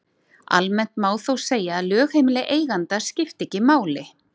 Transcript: Almennt má þó segja að lögheimili eiganda skipti ekki máli.